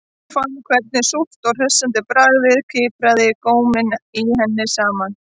Hún fann hvernig súrt og hressandi bragðið kipraði góminn í henni saman